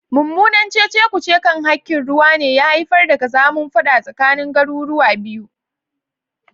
Mummunan cece-kuce kan hakkin ruwa ne ya haifar da kazamin fada tsakanin garuruwa biyu.